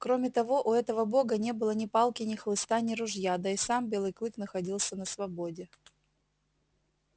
кроме того у этого бога не было ни палки ни хлыста ни ружья да и сам белый клык находился на свободе